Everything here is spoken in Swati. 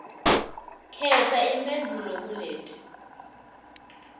khetsa imphendvulo kuleti